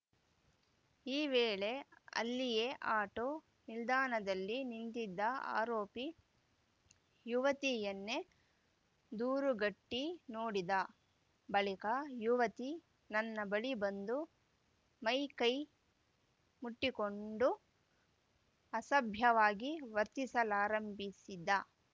ಈ ವೇಳೆ ಅಲ್ಲಿಯೇ ಆಟೋ ನಿಲ್ದಾಣದಲ್ಲಿ ನಿಂತಿದ್ದ ಆರೋಪಿ ಯುವತಿಯನ್ನೇ ದುರುಗಟ್ಟಿನೋಡಿದ ಬಳಿಕ ಯುವತಿ ನನ್ನ ಬಳಿ ಬಂದು ಮೈಕೈ ಮುಟ್ಟಿಕೊಂಡು ಅಸಭ್ಯವಾಗಿ ವರ್ತಿಸಲಾರಂಭಿಸಿದ